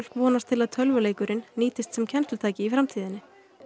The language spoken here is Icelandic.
vonast til að tölvuleikurinn nýtist sem kennslutæki í framtíðinni